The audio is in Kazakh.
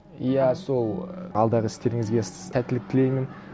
иә сол алдағы істеріңізге сәттілік тілеймін